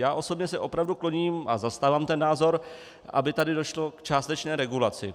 Já osobně se opravdu kloním a zastávám ten názor, aby tady došlo k částečné regulaci.